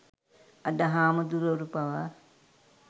අද හාමුදුරුවරු පාවා